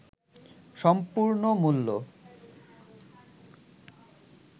সম্পূর্ণ মূল্য